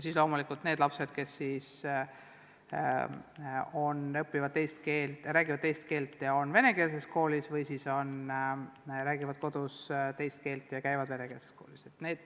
Loomulikult on meil ka lapsi, kes räägivad kodus eesti keelt, aga õpivad vene koolis või siis räägivad kodus mingit teist keelt, aga käivad vene koolis.